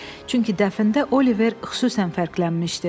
Çünki dəfnə Oliver xüsusən fərqlənmişdi.